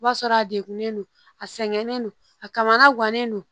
I b'a sɔrɔ a degunnen don a sɛgɛnen don a kamana guwanen do